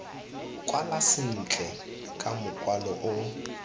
kwala sentle ka mokwalo o